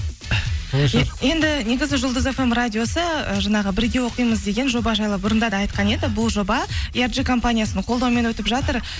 енді негізі жұлдыз фм радиосы ы жаңағы бірге оқимыз деген жоба жайлы бұрында да айтқан еді бұл жоба компаниясының қолдауымен өтіп жатыр